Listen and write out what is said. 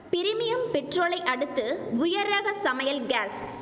premium பெட்ரோலை அடுத்து உயர் ரக சமையல் காஸ்